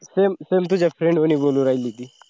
same, same तुझ्याच friend हून बोलू राहिली होती.